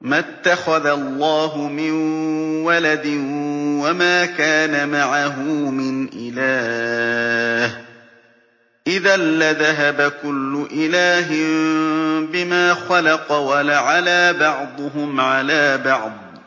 مَا اتَّخَذَ اللَّهُ مِن وَلَدٍ وَمَا كَانَ مَعَهُ مِنْ إِلَٰهٍ ۚ إِذًا لَّذَهَبَ كُلُّ إِلَٰهٍ بِمَا خَلَقَ وَلَعَلَا بَعْضُهُمْ عَلَىٰ بَعْضٍ ۚ